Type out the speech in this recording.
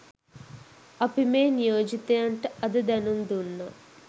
අපි මේ නියෝජිතයන්ට අද දැනුම් දුන්නා